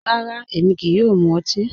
Rárá, émi kíí yòò mú òtì.